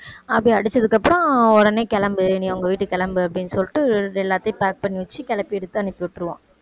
அப்படி அடிச்சதுக்கப்புறம் உடனே கிளம்பு நீ உங்க வீட்டுக்கு கிளம்பு அப்படின்னு சொல்லிட்டு எல்லாத்தையும் pack பண்ணி வச்சு கிளப்பி எடுத்து அனுப்பி விட்டுருவான்